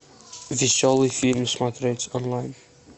веселый фильм смотреть онлайн